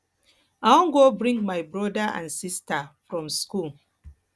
i wan go bring my broda and sista from skool